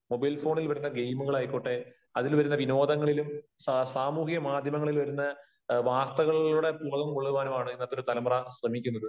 Mobile ഫോണിൽ വരുന്ന ഗയിമുകളായിക്കോട്ടെ അതിൽ വരുന്ന വിനോദങ്ങളിലും സാമൂഹ്യ മാധ്യമങ്ങളിൽ വരുന്ന വാർത്തകളിലൂടെ പുളകം കൊള്ളുവാനുമാണ് ഇന്നത്തെ ഒരു തലമുറ ശ്രമിക്കുന്നത്.